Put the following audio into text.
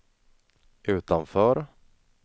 utanför